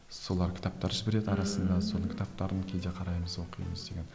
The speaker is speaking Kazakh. солар кітаптар жібереді арасында соның кітаптарын кейде қараймыз оқимыз деген